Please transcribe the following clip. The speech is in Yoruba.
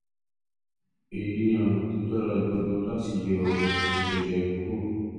èyí ni ọ̀nà tó dára jùlọ láti yọ ààrùn jẹjẹrẹ kúrò